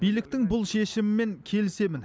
биліктің бұл шешімімен келісемін